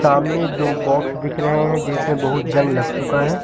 सामने दो बॉक्स दिख रहे हैं जिसमें बहुत जंग लग चुका है।